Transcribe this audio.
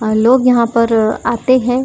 आ लोग यहां पर आते हैं।